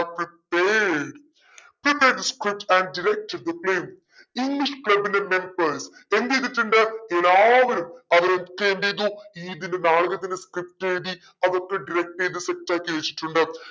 prepared prepared the script and direct the play english club ന്റെ members എന്തേയിതിട്ടുണ്ട് എല്ലാവരും അവരൊക്കെ എന്തേയിതു ഇതിന്റെ നാടകത്തിന്റെ script എഴുതി അതൊക്കെ ചെയ്ത് set ആക്കി വെച്ചിട്ടുണ്ട്